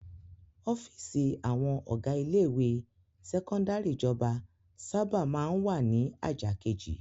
Ọ́fíísì àwọn ọ̀gá ilé-ìwé sẹ́kọ́ndárì ìjọba sábà máa ń wà ní ajá kejì.